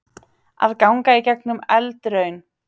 Að ganga í gegnum eldraun